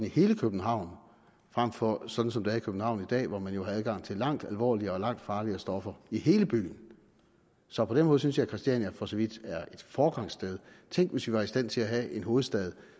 i hele københavn frem for sådan som det er i københavn i dag hvor man jo har adgang til langt alvorligere og langt farligere stoffer i hele byen så på den måde synes jeg at christiania for så vidt er et foregangssted tænk hvis vi var i stand til at have en hovedstad